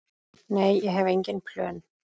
Nei, ég hef engin plön.